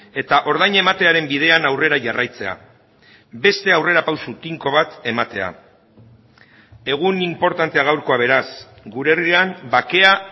eta ordaina ematearen bidean aurrera jarraitzea beste aurrerapauso tinko bat ematea egun inportantea gaurkoa beraz gure herrian bakea